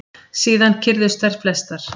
Síðan kyrrðust þær flestar.